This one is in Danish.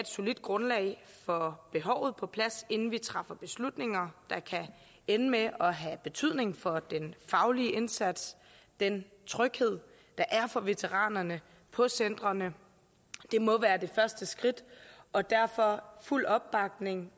solidt grundlag for behovet på plads inden vi træffer beslutninger der kan ende med at have betydning for den faglige indsats og den tryghed der er for veteranerne på centrene det må være det første skridt og derfor er fuld opbakning